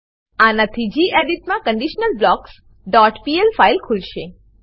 આનાથી ગેડિટ માં conditionalblocksપીએલ ફાઈલ ખુલશે